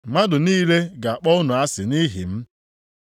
Mmadụ niile ga-akpọ unu asị nʼihi m.